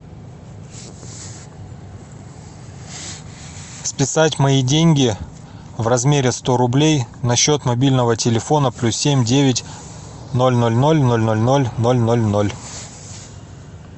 списать мои деньги в размере сто рублей на счет мобильного телефона плюс семь девять ноль ноль ноль ноль ноль ноль ноль ноль ноль